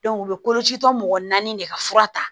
u bɛ kolocitɔ mɔgɔ naani de ka fura ta